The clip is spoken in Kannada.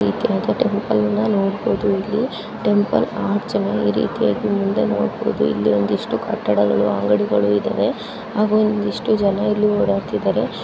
ಟೆಂಪುಲ್ನ ನೋಡಬಹುದು ಇಲ್ಲಿ ಟೆಂಪುಲ್ ಇರಿತಿಯಾಗಿ ಮುಂದೆ ನೋಡಬಹುದು ಇಲ್ಲಿ ಒಂದು ಇಷ್ಟು ಕಟ್ಟಡಗಳು ಅಂಗಡಿಗಳು ಇದವೆ ಹಾಗು ಒಂದು ಇಷ್ಟು ಜನ ಇಲ್ಲಿ ಒಡಾಡ್ತಿದ್ದಾರೆ .